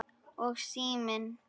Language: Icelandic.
Og síminn.